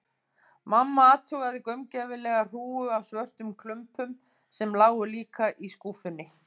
Mamma athugaði gaumgæfilega hrúgu af svörtum klumpum, sem lágu líka í skúffunni.